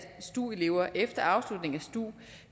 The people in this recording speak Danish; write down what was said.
stu elever efter afslutningen af stu